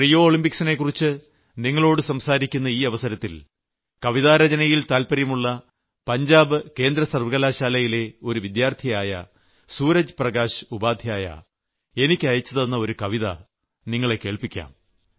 Rio ഒളിംമ്പിക്സിനെക്കുറിച്ച് നിങ്ങളോട് സംസാരിക്കുന്ന ഈ അവസരത്തിൽ കവിതാരചനയിൽ താല്പര്യമുള്ള പഞ്ചാബ് കേന്ദ്രസർവ്വകലാശാലയിലെ ഒരു വിദ്യാർത്ഥിയായ സൂരജ് പ്രകാശ് ഉപാദ്ധ്യായ എനിയ്ക്ക് അയച്ചുതന്നെ ഒരു കവിത നിങ്ങളെ കേൾപ്പിക്കാം